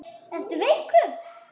Ertu veikur?